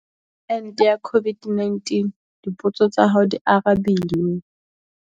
Ente ya COVID-19- Dipotso tsa hao di arabilwe